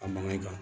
A mankan